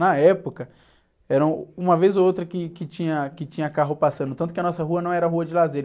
Na época, era uma vez ou outra que, que tinha, que tinha carro passando, tanto que a nossa rua não era rua de lazer.